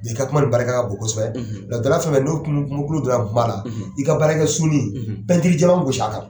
I ka kuma nin barika ka bon kosɛbɛ la dilanra fɛn fɛn ni donna la, i ka baarakɛ ni jɛman gos'a kan.